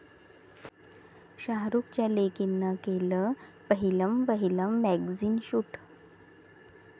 शाहरुखच्या लेकीनं केलं पहिलंवहिलं मॅगझिन शूट!